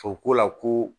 O ko la ko